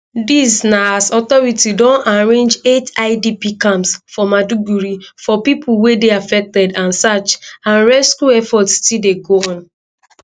dis na as authorities don arrange eight idp camps for maiduguri for pipo wey dey affected and search and rescue efforts still dey go on